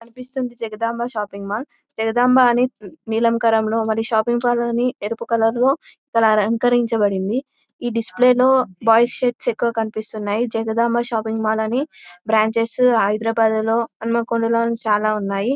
కనిపిస్తోంది Jagadamba shopping mall . Jagadamba అని నీలం కలర్ షాపింగ్ మాల్ అని ఎరుపు కలర్ లో అలకరిచ బడింది. ఈ డిస్ప్లే లో బాయ్స్ షర్ట్స్ ఎక్కువుగా కనిపిస్తున్నాయి. జగదంబ షాపింగ్ మాల్ అని బ్రాంచ్స్ హైదరాబాద్లో హనుమకొండ లో చాలా ఉన్నాయి.